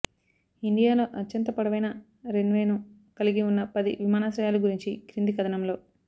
ఇండియాలో అత్యంత పొడవైన రన్వేను కలిగి ఉన్న పది విమానాశ్రయాలు గురించి క్రింది కథనంలో